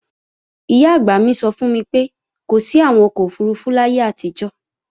Ìyá-àgbà mi sọ fún mi pé kò sí àwọn ọkọ̀ òfurufú láyé àtijọ́